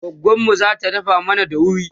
goggonmu zata dafa mana daurin